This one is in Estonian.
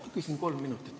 Ma küsin kohe kolm minutit.